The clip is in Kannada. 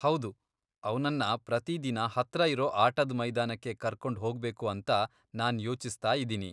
ಹೌದು, ಅವ್ನನ್ನ ಪ್ರತಿದಿನ ಹತ್ರ ಇರೋ ಆಟದ್ ಮೈದಾನಕ್ಕೆ ಕರ್ಕೊಂಡ್ ಹೋಗ್ಬೇಕು ಅಂತ ನಾನ್ ಯೋಚಿಸ್ತಾಯಿದಿನಿ.